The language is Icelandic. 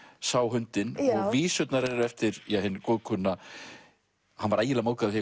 sá hundinn og vísurnar eru eftir hinn góðkunna hann var ægilega móðgaður